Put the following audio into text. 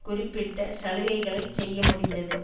குறிப்பிட்ட சலுகைகளைச் செய்ய முடிந்தது